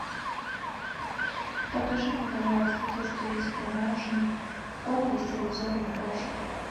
покажи мне пожалуйста то что есть в продаже корм для стерилизованных кошек